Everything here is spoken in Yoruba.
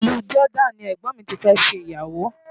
Ìlú Jordan ni ẹ̀gbọ́n mi ti fẹ́ ṣe ìyàwó.